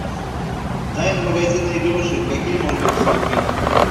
тайна магазина игрушек какие можно посмотреть